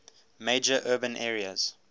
major urban areas